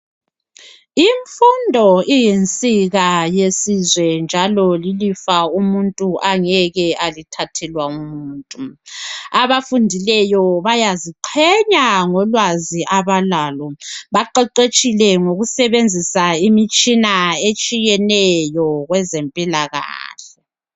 Imfundo iyinsika yesizwe njalo lilifa umuntu angeke alithathelwa ngumuntu. Abafundileyo bayaziqhenya ngolwazi abalalo. Baqeqetshile ngokusebenzisa imitshina etshiyeneyo kwezempilakahle.